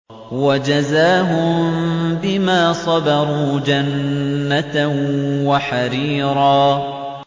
وَجَزَاهُم بِمَا صَبَرُوا جَنَّةً وَحَرِيرًا